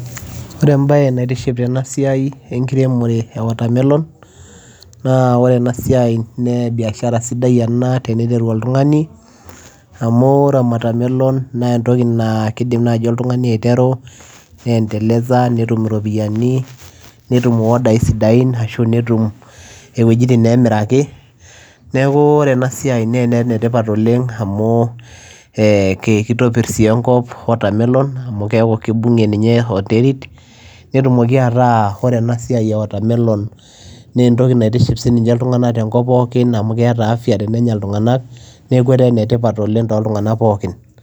Oree ebayee naitiship tena siai enkiremoree ee watermelon naa biashara sidai ena naa entoki nayau iropiyianii netum iyoodai sidain neeku ene tipat ena siai amuu kitopirr enkop kibungiee enderit naa entokii naitiship ilntunganak tenenyaa amuu keeta afya tooltunganak pookin